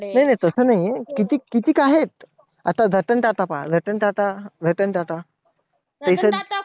नाही नाही तसं नाही. कितीक कितीक आहेत. आता रतन टाटा पहा. रतन टाटा रतन टाटा